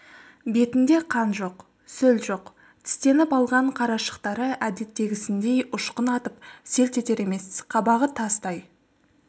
бетінде қан жоқ сөл жоқ тістеніп алған қарашықтары әдеттегісіндей ұшқын атып селт етер емес қабағы тастай